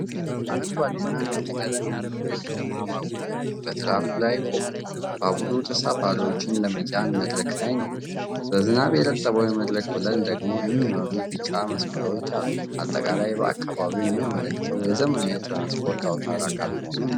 አረንጓዴና ነጭ ቀለም ያለው የከተማ ባቡር በትራኩ ላይ ቆሟል። ባቡሩ ተሳፋሪዎችን ለመጫን መድረክ ላይ ነው። በዝናብ የረጠበው የመድረክ ወለል ደግሞ የሚመሩ ቢጫ መስመሮች አሉት። አጠቃላይ አካባቢው የሚያመለክተው የዘመናዊ የትራንስፖርት አውታር አካል መሆኑን ነው።